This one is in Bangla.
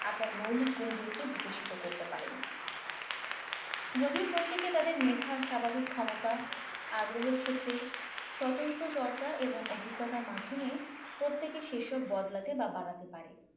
আপনার মৌলিক গুনগুলোকে বিকশিত করতে পারেন যদিও প্রত্যেকে তাদের মেধা স্বাভাবিক ক্ষমতা আগ্রহর ক্ষেত্রে স্বতন্ত্র চর্চা এবং অভিজ্ঞতার মাধ্যমে প্রত্যেকে সেসব বদলাতে বা বাড়াতে পারে